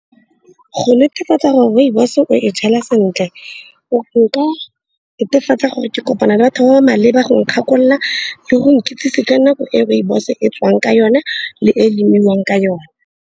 Go netefatsa gore rooibos-o e jala sentle, o ka netefatsa gore ke kopana le batho ba ba maleba go nkgakolola le go nkitsise ka nako e rooibos-o e tswang ka yone le e lemiwang ka yone.